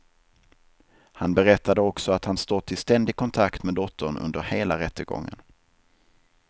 Han berättade också att han stått i ständig kontakt med dottern under hela rättegången.